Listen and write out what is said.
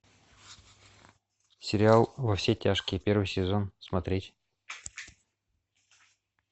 сериал во все тяжкие первый сезон смотреть